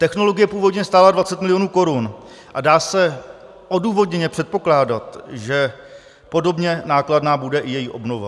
Technologie původně stála 20 mil. korun a dá se odůvodněně předpokládat, že podobně nákladná bude i její obnova.